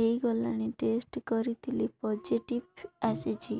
ହେଇଗଲାଣି ଟେଷ୍ଟ କରିଥିଲି ପୋଜିଟିଭ ଆସିଛି